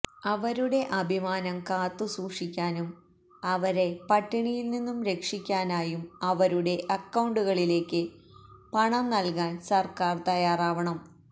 അവരുടെ അഭിമാനം കാത്തുസൂക്ഷിക്കാനായും അവരെ പട്ടിണിയില് നിന്നും രക്ഷിക്കാനായും അവരുടെ അക്കൌണ്ടുകളിലേക്ക് പണം നല്കാന് സര്ക്കാര് തയാറാവണം